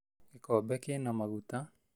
Gĩkombe kĩna maguta